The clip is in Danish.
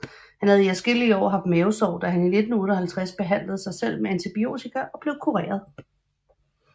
Han havde i adskillige år haft mavesår da han i 1958 behandlede sig selv med antibiotika og blev kureret